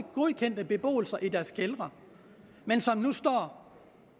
godkendt beboelse i deres kældre men som nu står